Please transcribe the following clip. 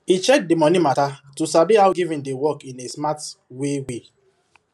he check the money matter to sabi how giving dey work in a smart way way